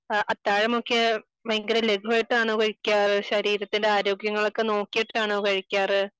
അത്താഴം നോക്കിയാൽ ഭയങ്കരം ലഘുവായിട്ടാണോ കഴിക്കാറ് ശരീരത്തിന്റെ ആരോഗ്യങ്ങൾ ഒക്കെ നോക്കിയിട്ടാണോ കഴിക്കാറ്